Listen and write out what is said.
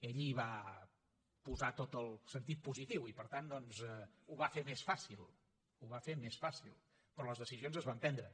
ell hi va posar tot el sentit positiu i per tant doncs ho va fer més fàcil ho va fer més fàcil però les decisions es van prendre